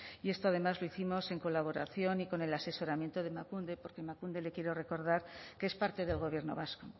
y esto además lo hicimos en colaboración y con el asesoramiento de emakunde porque emakunde le quiero recordar que es parte del gobierno vasco